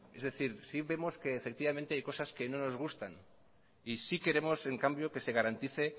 es decir sí vemos que hay cosas que no nos gustan y sí queremos en cambio que se garantice